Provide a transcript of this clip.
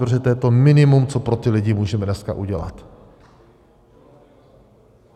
Protože to je to minimum, co pro ty lidi můžeme dneska udělat.